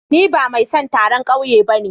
Ni ba mai son taron kauye bane.